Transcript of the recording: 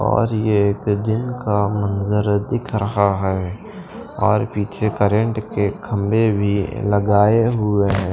और ये एक दिन का मंजर दिख रहा है और पीछे करंट के खंबे भी लगाए हुए हैं।